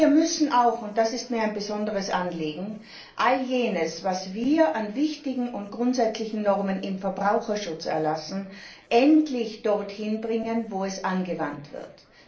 Wir müssen auch, und das ist mir ein besonderes Anliegen, all jenes, was wir an wichtigen und grundsätzlichen Normen im Verbraucherschutz erlassen, endlich dorthin bringen, wo es angewandt wird.